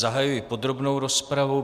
Zahajuji podrobnou rozpravu.